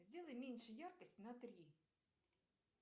сделай меньше яркость на три